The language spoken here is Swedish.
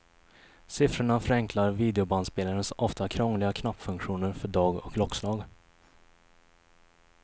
Siffrorna förenklar videobandspelarens ofta krångliga knappfunktioner för dag och klockslag.